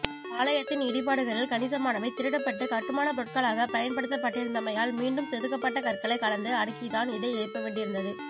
ஆலயத்தின் இடிபாடுகளில் கணிசமானவை திருடப்பட்டு கட்டுமானப்பொருட்களாகப் பயன்படுத்தப்பட்டிருந்தமையால் மீண்டும் செதுக்கப்பட்ட கற்களைக் கலந்து அடுக்கித்தான் இதை எழுப்பவேண்டியிருந்தது